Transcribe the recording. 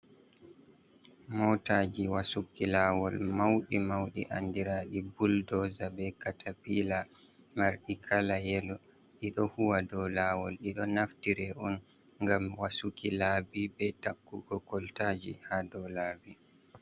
Motaji wasuki lawol mawɗi mawɗi andiraɗum buldozaa be katafila, marɗi kala yelo ɗiɗo huwa do lawol. Ɗiɗo naftire on ngam wasuki lawol, be daɗɗuki kolta ji ha dow laabi.